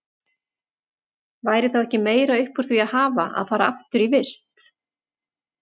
Væri þá ekki meira upp úr því að hafa að fara aftur í vist?